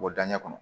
Bɔ daɲɛ kɔnɔ